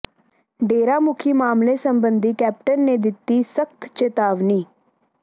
ਡੇਰਾ ਮੁਖੀ ਮਾਮਲੇ ਸਬੰਧੀ ਕੈਪਟਨ ਨੇ ਦਿੱਤੀ ਸਖਤ ਚਿਤਾਵਨੀ